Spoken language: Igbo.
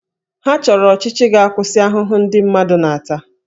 Ha chọrọ ọchịchị ga-akwụsị ahụhụ ndị mmadụ na-ata